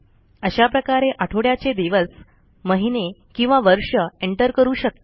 अशा प्रकारे आठवड्याचे दिवस महिने किंवा वर्ष एंटर करू शकता